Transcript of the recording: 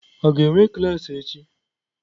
A ga-enwe klaasị echi?